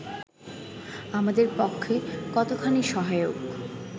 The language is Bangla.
আমাদের পক্ষে কতোখানি সহায়ক